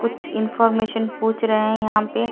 कुछ इंफॉर्मेशन पूछ रहे हैं यहां पे--